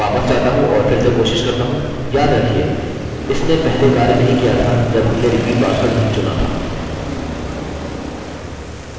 यह समस्या है हमें क्या कहना चाहिए कि यदि सब कुछ मौजूद है तब हम अपना पासवर्ड और रिपीट पासवर्ड बदल सकते हैं